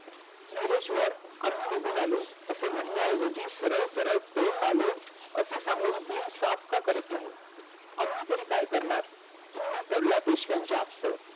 धीरेश्व्र आम्ही निघून आलो असे म्हणण्या इव्हजी सरळ सरळ आम्ही पळून आलो असी सांगून बिन साफ का करत नाही आम्ही तर काय करणार तुम्ही पडला पेशवाचे आपटे